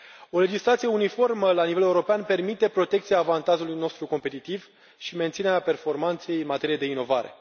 O legislație uniformă la nivel european permite protecția avantajului nostru competitiv și menținerea performanței în materie de inovare.